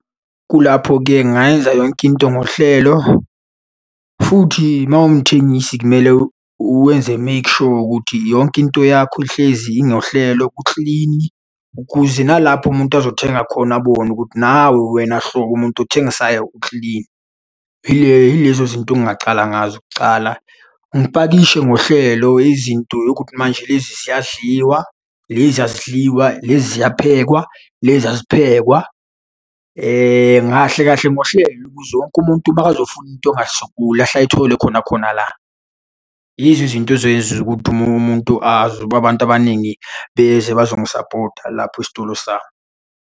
Kulapho-ke ngingayenza yonke into ngohlelo, futhi uma uwumthengisi kumele wenze make sure ukuthi yonke into yakho ihlezi ingohlelo kuklini, ukuze nalapho umuntu azothenga khona abone ukuthi, nawe wena hlobo umuntu othengisayo ukilini. Yile yilezo zinto engingacala ngazo kucala. Ngipakishe ngohlelo izinto yokuthi manje lezi ziyadliwa, lezi azidliwa. Lezi ziyaphekwa, lezi aziphekwa ngahle kahle ngohlelo ukuze wonke umuntu makazofuna into angasokoli ahle ayithole khona khona la. Yizo izinto ezoyenza ukuthi omunye umuntu azi ukuba abantu abaningi beze bazongisapota lapho esitolo sami.